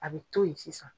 A bɛ to yen sisan